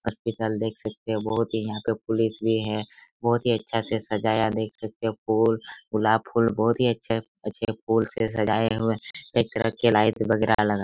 hospital देख सकते हो बोहोत ही यहां पे पुलिस भी हैं बोहोत ही अच्छा से सजाया देख सकते हो फूल गुलाब फूल बोहोत ही अच्छा अच्छे फूल से सजाया हुए हैं एक तरफ के लाइट्स वगेरा--